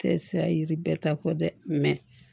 Tɛ se ka yiri bɛɛ ta fɔ dɛ